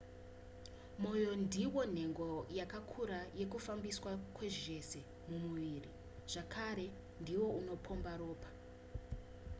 mwoyo ndiwo nhengo yakakura yekufambiswa kwezvese mumuviri zvakare ndiwo unopomba ropa